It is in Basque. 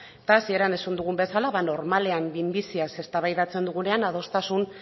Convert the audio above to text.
eta hasieran esan dugun bezala ba normalean minbiziaz eztabaidatzen dugunean adostasun